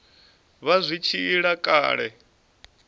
vha zwi tshi ila kale